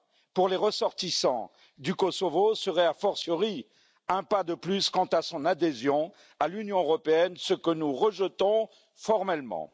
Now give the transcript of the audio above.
pour les ressortissants du Kosovo serait a fortiori un pas de plus vers l'adhésion à l'Union européenne, ce que nous rejetons formellement.